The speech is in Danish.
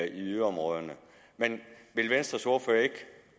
i yderområderne men vil venstres ordfører ikke